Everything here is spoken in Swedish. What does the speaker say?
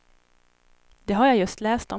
Det har jag just läst om.